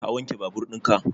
Ka wanke babur in ka?